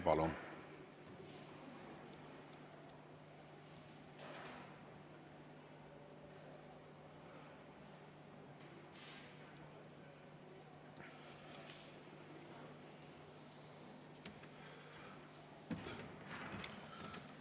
Palun!